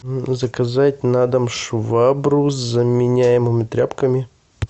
заказать на дом швабру с заменяемыми тряпками